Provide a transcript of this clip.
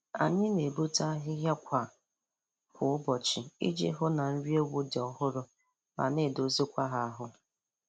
Anyị na-egbute ahịhịa kwa kwa ụbọchị iji hụ na nri ewu dị ọhụrụ ma na-edozikwa ha ahụ